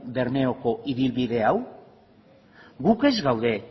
bermeoko ibilbide hau gu ez gaude